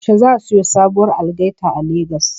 Yaushe za siyo sabuwar algaita a Lagos?